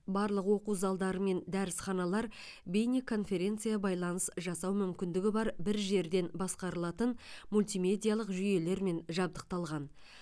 барлық оқу залдары мен дәрісханалар бейнеконференцбайланыс жасау мүмкіндігі бар бір жерден басқарылатын мультимедиялық жүйелермен жабдықталған